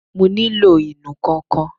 Mo nílò ìnù-ǹkan kan